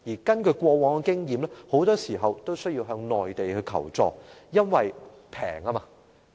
根據過往經驗，香港經常須向內地求助，因為內地成本較低。